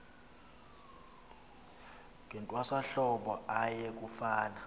ngentwasahlobo aye kufuna